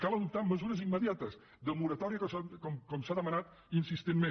cal adoptar mesures immediates de moratòria com s’ha demanat insistentment